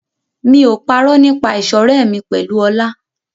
Mi ò parọ́ nípa ìṣọ̀rẹ́ mi pẹ̀lú Ọlá.